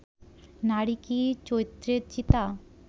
নারী কি চৈত্রের চিতা